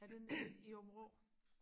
er det nede i Aabenraa